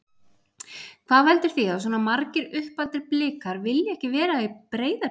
Hvað veldur því að svona margir uppaldir Blikar vilja ekki vera í Breiðabliki?